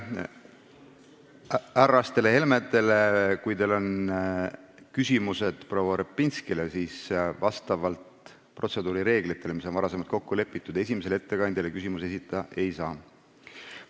Ütlen härrastele Helmedele, et kui teil on küsimusi proua Repinskile, siis arvestage, et vastavalt protseduurireeglitele, mis on varem kokku lepitud, esimesele ettekandjale küsimusi esitada ei saa.